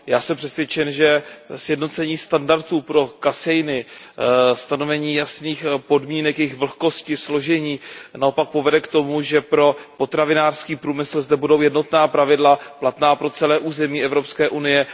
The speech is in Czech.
Já jsem přesvědčen, že sjednocení standardů pro kaseiny, stanovení jasných podmínek jejich vlhkosti a složení naopak povede k tomu, že pro potravinářský průmysl zde budou jednotná pravidla platná pro celé území Evropské unie.